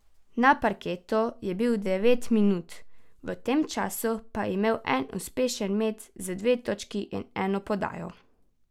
Na parketu je bil devet minut, v tem času pa imel en uspešen met za dve točki in eno podajo.